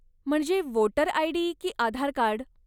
म्हणजे voter ID. की आधारकार्ड?